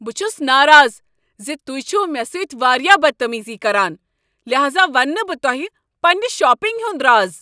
بہٕ چھس ناراض ز تہۍ چھو مےٚ سۭتۍ واریاہ بدتمیزی کران لہذا ونہٕ نہٕ بہٕ تۄہہ پننِہ شاپنگ ہند راز۔